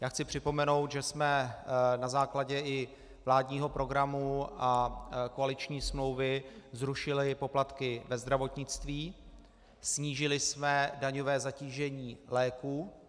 Já chci připomenout, že jsme i na základě vládního programu a koaliční smlouvy zrušili poplatky ve zdravotnictví, snížili jsme daňové zatížení léků.